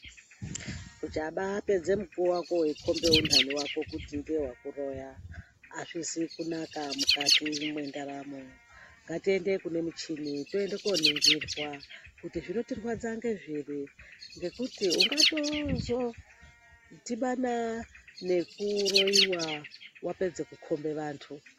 Uchapedza mukuwo wako wei kombe unhanhi wako kuti ndiye akurowa hazvina kunaka mukati mwendaramo ngatiende kune muchini toenda ku oningirwa kuti zvinokurwadza ngezviri ngekuti ungatozo dhibana ngekuroyiwa wapedze kukombe vantu.